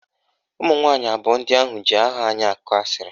Ụmụnwanyị abụọ ndị ahụ ji aha anyị akọ asịrị